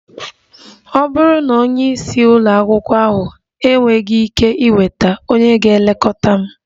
Ọ bụrụ na onye isi ụlọ akwụkwọ ahụ enweghị ike ịnweta, ònye ga-elekọta m?